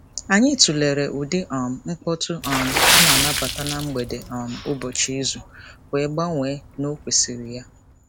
Anyị tụlere ụdị um mkpọtụ um a na-anabata na mgbede um ụbọchị izu wee gbanwee n'okwesiri ya.